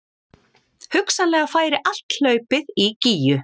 Hugsanlega færi allt hlaupið í Gígju